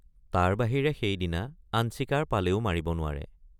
তাৰ বাহিৰে সেইদিনা আন চিকাৰ পালেও মাৰিব নোৱাৰে।